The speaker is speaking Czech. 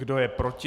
Kdo je proti?